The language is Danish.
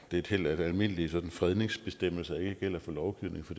et held at almindelige fredningsbestemmelser ikke gælder for lovgivning for